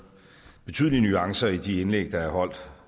betydelige nuancer i de indlæg der er holdt